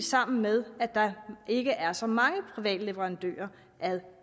sammen med at der ikke er så mange private leverandører af